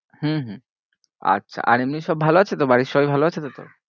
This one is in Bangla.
হম হম আচ্ছা আর এমনি সব ভালো আছে তো, বাড়ির সবাই ভালো আছে তো তোর?